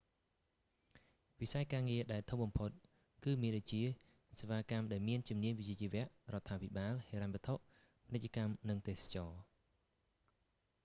វិស័យការងារដែលធំបំផុត គឺមានដូចជា សេវាកម្មដែលមានជំនាញវិជ្ជាជីវៈ រដ្ឋាភិបាល ហិរញ្ញវត្ថុ ពាណិជ្ជកម្ម និងទេសចរណ៍